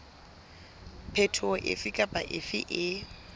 phetoho efe kapa efe e